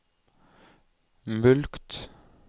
mulkt